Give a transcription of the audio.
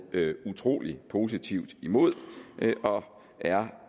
utrolig positivt imod og er